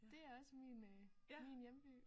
Det er også min øh min hjemby